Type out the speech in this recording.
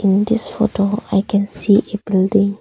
In this photo I can see a building.